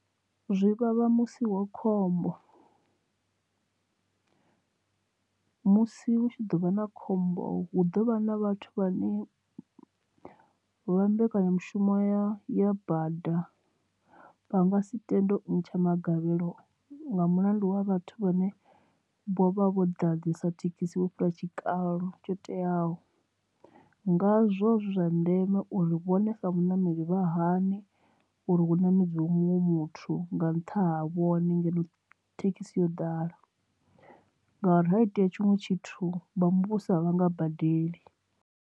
Zwi vhavha musi wa khombo musi hu tshi ḓo vha na khombo hu ḓovha na vhathu vha ne vha mbekanya mushumo ya ya bada vhanga si tenda ntsha magavhelo nga mulandu wa vhathu vhane vho vha vho ḓa ḓisa thekhisi vho fhira tshikalo tsho teaho. Nga zwo zwi zwa ndeme uri vhone sa vhaṋameli vha hane uri hu namedziwe muṅwe muthu nga nṱha ha vhone ngeno thekhisi yo ḓala ngauri ha itea tshiṅwe tshithu vha muvhuso a vhanga badeli.